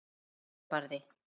Stefán Barði.